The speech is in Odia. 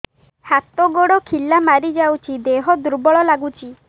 ହାତ ଗୋଡ ଖିଲା ମାରିଯାଉଛି ଦେହ ଦୁର୍ବଳ ଲାଗୁଚି